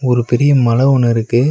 ஒரு பெரிய மல ஒன்னு இருக்கு.